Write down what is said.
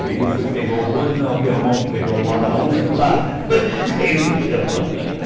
E ele foi pegar o bonde e não abria a mão para pegar o balaúso e plá, caiu no chão.